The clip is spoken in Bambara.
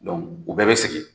u bɛɛ be segin.